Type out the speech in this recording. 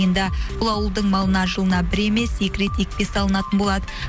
енді бұл ауылдың малына жылына бір емес екі рет екпе салынатын болады